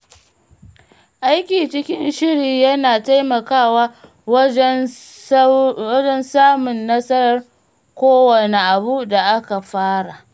Aiki cikin shiri yana taimakawa wajen samun nasarar kowane abu da aka fara.